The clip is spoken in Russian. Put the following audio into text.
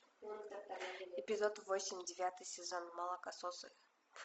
эпизод восемь девятый сезон молокососы